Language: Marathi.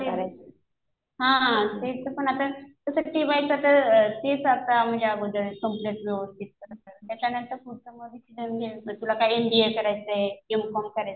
हा तेच. हा हा त्याच पण आता. कसं टि वायचं तेच आता म्हणजे अगोदर कम्प्लिट कर व्यवस्थित कर. त्याच्यानंतर पुढचा डिसिजन घे. तुला काय एमबीए करायचंय.एम कॉम करायचंय.